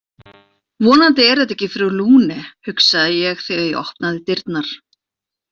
Vonandi er þetta ekki frú Lune, hugsaði ég þegar ég opnaði dyrnar.